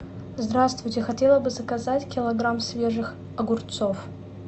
здравствуйте хотела бы заказать килограмм свежих огурцов